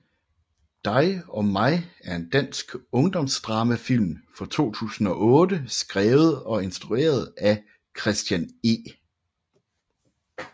Dig og mig er en dansk ungdomsdramafilm fra 2008 skrevet og instrueret af Christian E